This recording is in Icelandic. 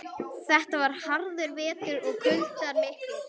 Þetta var harður vetur og kuldar miklir.